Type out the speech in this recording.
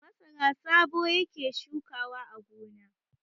Masara Sabo yake shukawa a gona.